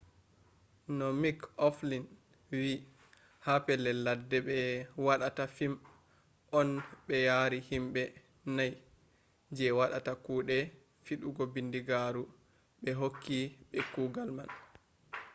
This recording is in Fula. no mik oflin wi ha pellel ladde ɓe waɗata fim on ɓe yari himɓe nai je waɗata kuɗe fiɗugo bindigaru ɓe hokki ɓe kugal man